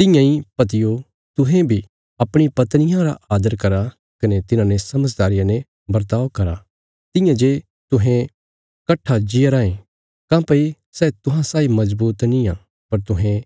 तियां इ पतियो तुहें बी अपणी पत्नियां रा आदर करा कने तिन्हांने समझदारिया ने बर्ताव करा तियां जे तुहें कट्ठा जीआ राँये काँह्भई सै तुहां साई मजबूत निआं पर तुहें